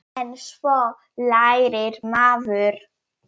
En svo lærir maður.